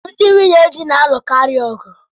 Ndị nwunyedi na-alukari ọgụ